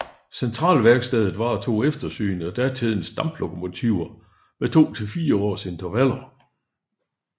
Centralværkstedet varetog eftersyn af datidens damplokomotiver med 2 til 4 års intervaller